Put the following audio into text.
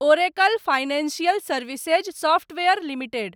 Oracle financial services software limited